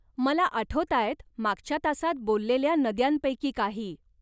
मला आठवताहेत मागच्या तासात बोललेल्या नद्यांपैकी काही.